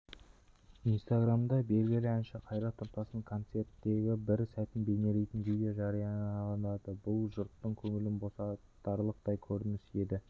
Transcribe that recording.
инстаграмда белгілі әнші қайрат нұртастың концерттегібір сәтін бейнелейтін видео жарияланды бұл жұрттың көңілін босатарлықтай көрініс еді